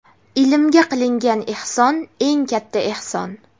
Ilmga qilingan ehson eng katta ehson!.